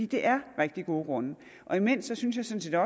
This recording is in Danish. det er rigtig gode grunde imens synes jeg sådan